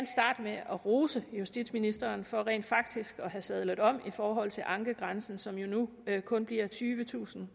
med at rose justitsministeren for rent faktisk at have sadlet om i forhold til ankegrænsen som jo nu kun bliver tyvetusind